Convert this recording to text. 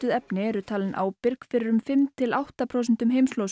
efni eru talin ábyrg fyrir um fimm til átta prósent